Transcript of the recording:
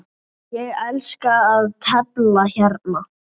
Ég elska að tefla hérna.